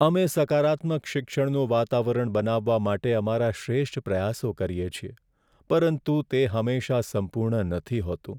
અમે સકારાત્મક શિક્ષણનું વાતાવરણ બનાવવા માટે અમારા શ્રેષ્ઠ પ્રયાસો કરીએ છીએ, પરંતુ તે હંમેશા સંપૂર્ણ નથી હોતું.